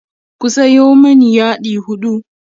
ku Sayo mani yadi huɗu